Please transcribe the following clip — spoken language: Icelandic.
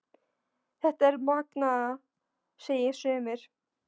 Þetta er það magnaða, segja sumir.